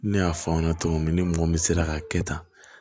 Ne y'a fɔ aw ɲɛna cogo min ni mɔgɔ min sera ka kɛ tan